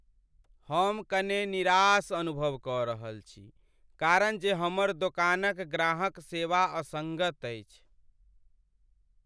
हम कने निराश अनुभव कऽ रहल छी कारण जे हमर दोकानक ग्राहक सेवा असङ्गत अछि।